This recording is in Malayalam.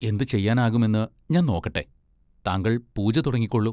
എന്തുചെയ്യാനാകുമെന്ന് ഞാൻ നോക്കട്ടെ.താങ്കൾ പൂജ തുടങ്ങിക്കോളൂ.